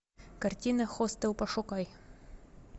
картина хостел пошукай